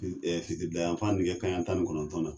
Fi ɛ fitirida yanfan bi kɛ kan yan tani kɔnɔntɔn na